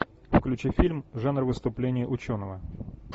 включи фильм жанр выступление ученого